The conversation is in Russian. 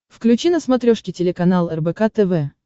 включи на смотрешке телеканал рбк тв